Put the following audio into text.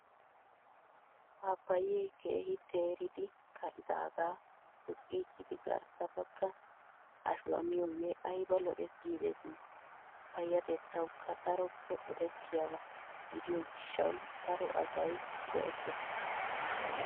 Paappayee keehi teeridi ka''idaaga poqqichchidi garssa bagga ashuwaa miyoogee ayiba lo''es giidetii. Payyatettawukka daroppe odettiyaaba gidiyoo gishshawu daro asayi go''ettes.